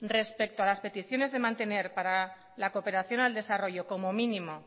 respecto a las peticiones de mantener para la cooperación al desarrollo como mínimo